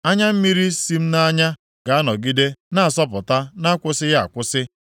Anya mmiri si m nʼanya ga-anọgide na-asọpụta na-akwụsịghị akwụsị,